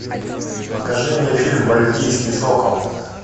покажи мне фильм мальтийский сокол